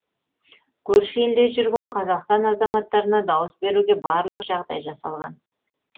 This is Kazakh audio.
көрші елде жүрген қазақстан азаматтарына дауыс беруге барлық жағдай жасалған